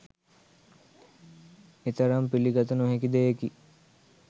එතරම් පිළිගත නොහැකි දෙයකි.